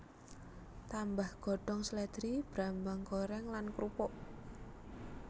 Tambah godhong slèdri brambang goreng lan krupuk